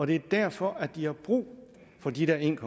det er derfor de har brug for de der en